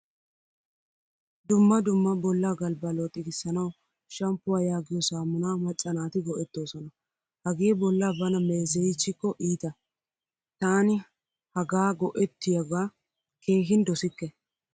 Dumma dumma bolla galbba looxigisanawu shamppuwaa yaagiyo saamuna macca naati go'ettoosona. Hagee bolla bana meezeyichiko iittaa. Taani hagaa go'ettiyoga keehin dosikke.